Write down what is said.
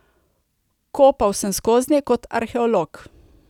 Kopal sem skoznje kot arheolog.